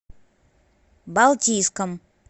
балтийском